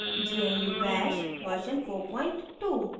* gnu bash version 42